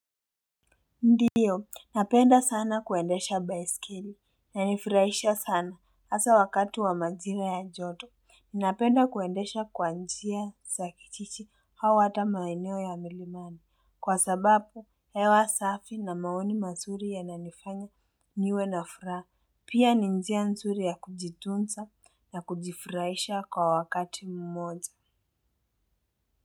Ndio, napenda sana kuendesha baisikeli na inanifurahisha sana hasa wakati wa majira ya joto. Ninapenda kuendesha kwa njia za kijiji au hata maeneo ya milimani. Kwa sababu, hewa safi na maoni mazuri yananifanya niwe na furaha. Pia ni njia nzuri ya kujitunza na kujifurahisha kwa wakati mmoja.